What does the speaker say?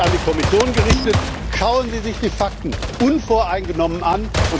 Und an die Kommission gerichtet Schauen Sie sich die Fakten unvoreingenommen an!